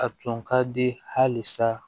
A tun ka di hali sa